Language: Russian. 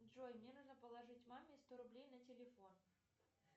джой мне нужно положить маме сто рублей на телефон